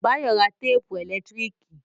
Báyọ̀ rà téèpù ẹ̀lẹ́tíríkì